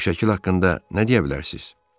Bu şəkil haqqında nə deyə bilərsiniz?